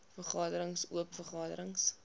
vergaderings oop vergaderings